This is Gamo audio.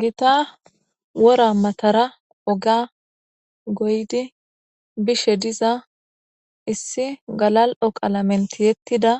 gita wora matara oga goydi bishe diza issi galal7oqalamentiyettida